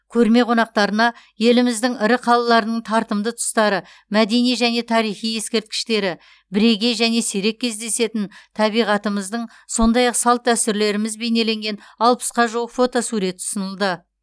көрме қонақтарына еліміздің ірі қалаларының тартымды тұстары мәдени және тарихи ескерткіштері бірегей және сирек кездесетін табиғатымыздың сондай ақ салт дәстүрлеріміз бейнеленген алпысқа жуық фотосурет ұсынылды